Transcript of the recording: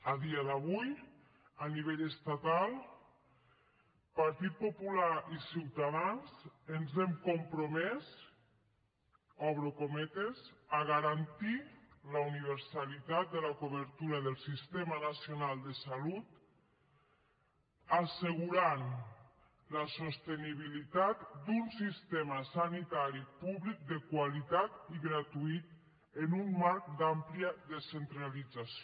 a dia d’avui a nivell estatal partit popular i ciutadans ens hem compromès obro cometes a garantir la universalitat de la cobertura del sistema nacional de salut assegurant la sostenibilitat d’un sistema sanitari públic de qualitat i gratuït en un marc d’àmplia descentralització